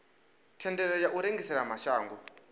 thendelo ya u rengisela mashango